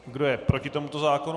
Kdo je proti tomuto návrhu?